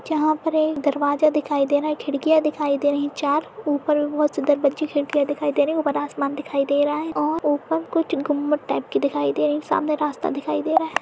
यहां पर एक दरवाजा दिखाई दे रहा है खिड़कियां दिखाई दे रही है चार ऊपर बहुत सुंदर बजी खिड़कियां दिखाई दे रही है ऊपर आसमान दिखाई दे रहा है और ऊपर कुछ गुंबद टाइप के दिखाई दे रहे हैं और सामने रास्ता दिखाई दे रहा है।